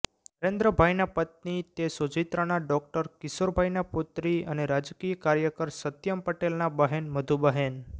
નરેન્દ્રભાઈનાં પત્ની તે સોજિત્રાના ડોક્ટર કિશોરભાઈના પુત્રી અને રાજકીય કાર્યકર સત્યમ્ પટેલનાં બહેન મધુબહેન